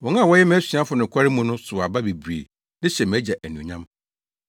Wɔn a wɔyɛ mʼasuafo nokware mu no sow aba bebree de hyɛ mʼAgya anuonyam.